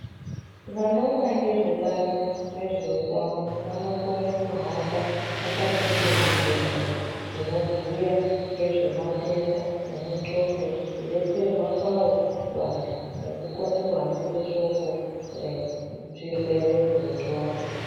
Vanoona ngezve bazi rezveutano vanokone kuhamba akapfeke zvidxoko zvinobhuya ngezve matenda emunxondo ,kudetserwa kwawo kuantu, nekukone kuhambisa shoko rezvirwere zvenxondo.